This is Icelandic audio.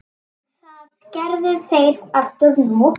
Það gerðu þeir aftur nú.